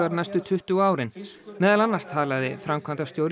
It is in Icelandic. næstu tuttugu árin meðal annars talaði framkvæmdastjóri